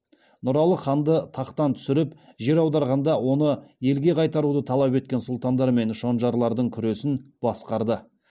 нұралы ханды тақтан түсіріп жер аударғанда оны елге қайтаруды талап еткен сүлтандар мен шонжарлардың күресін басқарды